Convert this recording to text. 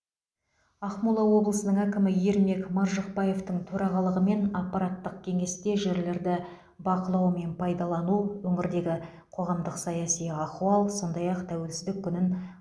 ақмола облысының әкімі ермек маржықпаевтың төрағалығымен аппараттық кеңесте жерлерді бақылау мен пайдалану өңірдегі қоғамдық саяси ахуал сондай ақ тәуелсіздік күнін